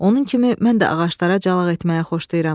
Onun kimi mən də ağaclara calaq etməyi xoşlayıram.